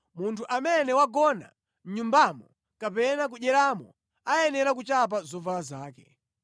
Munthu amene wagona mʼnyumbamo kapena kudyeramo ayenera kuchapa zovala zake.